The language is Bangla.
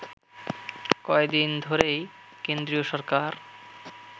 কয়েকদিন ধরেই কেন্দ্রীয় সরকার